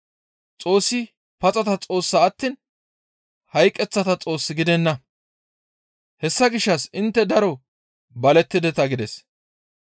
Xoossi paxata Xoossa attiin hayqeththata Xoos gidenna; hessa gishshas intte daro balettideta» gides.